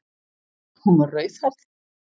Hún var rauðhærð!